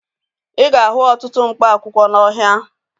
Ị ga-ahụ ọtụtụ mkpa akwụkwọ n'ọhịa